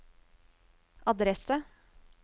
adresse